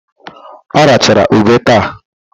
Ọ rachara ube taa?